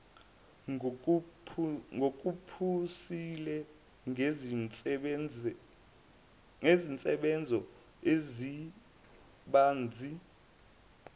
ngokuphusile nezinsebenzo ezibanzi